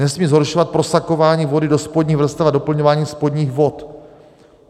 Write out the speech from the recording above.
Nesmí zhoršovat prosakování vody do spodních vrstev a doplňování spodních vod.